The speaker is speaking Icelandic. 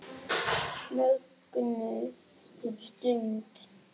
Mögnuð stund.